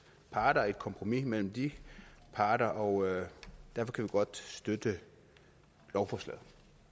parter et kompromis mellem de parter og derfor kan vi godt støtte lovforslaget